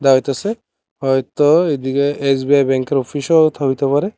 হয়তো এদিকে এস_বি_আই ব্যাংকের অফিসও তো হইতে পারে।